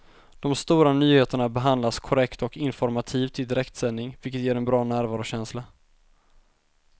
De stora nyheterna behandlas korrekt och informativt i direktsändning, vilket ger en bra närvarokänsla.